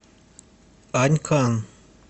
анькан